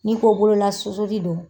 Ni ko bolola susu li don